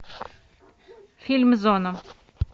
фильм зона